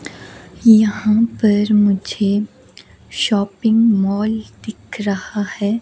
यहां पर मुझे शॉपिंग मॉल दिख रहा है।